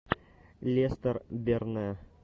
лестер берне